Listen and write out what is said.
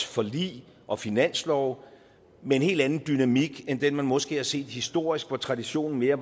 forlig og finanslove med en helt anden dynamik end den man måske har set historisk hvor traditionen mere